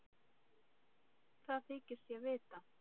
Það þykist ég vita.